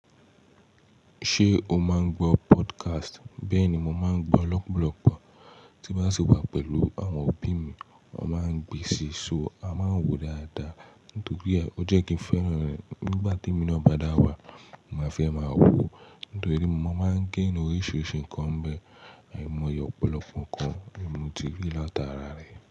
Ṣé o máa ń gbọ́ podcast? Bẹ́ẹ̀ ni, mo máa ń gbọ́ lọ̀pọ̀lọpọ̀ tí bá sì wà pẹ̀lú àwọn òbí mi, wọ́n máa ń gbé si, so a máa ń wò dáadáa. Nítorí e ó jẹ́ kí n fẹ́ràn rẹ̀ nígbà tí emí náà bàdàwà, máa fẹ́ máa wò. Nítorí mo máa ń gain oríṣiríṣi nǹkan bẹ́ẹ̀, àìmọye ọ̀pọ̀lọpọ̀ nǹkan ní mo ti rí láti ara rẹ̀